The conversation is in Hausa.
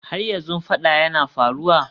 Har yanzu fada yana faruwa?